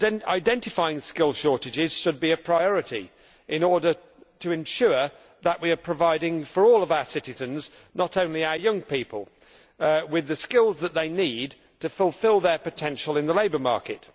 Identifying skill shortages should be a priority, in order to ensure that we are providing all our citizens, not only our young people, with the skills that they need to fulfil their potential in the labour market.